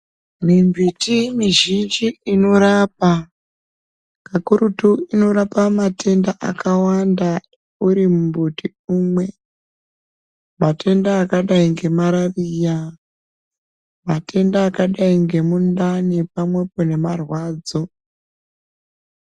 Mimbiti mizhinji inorapa, kakurutu inorapa matenda akawanda uri mbuti umwe. Matenda akadai ngemarariya, matenda akadai ngemundani pamwepo nemarwadzo.